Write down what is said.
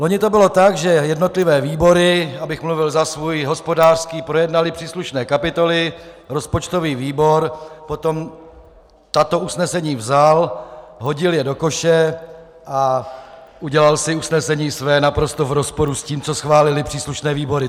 Loni to bylo tak, že jednotlivé výbory, abych mluvil za svůj hospodářský, projednaly příslušné kapitoly, rozpočtový výbor potom tato usnesení vzal, hodil je do koše a udělal si usnesení své naprosto v rozporu s tím, co schválily příslušné výbory.